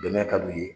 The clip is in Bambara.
Bɛnɛya ka di u ye